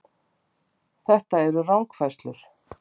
Þetta eru rangfærslur